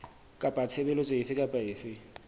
kapa tshebeletso efe kapa efe